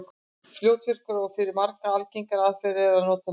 Fljótvirkari og fyrir marga aðgengilegri aðferð er að nota Netið.